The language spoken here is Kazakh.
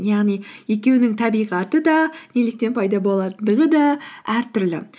яғни екеуінің табиғаты да неліктен пайда болатындығы да әртүрлі